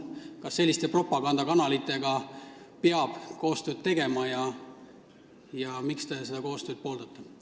Kas selliste propagandakanalitega peab koostööd tegema ja kui jah, siis miks te sellist koostööd pooldate?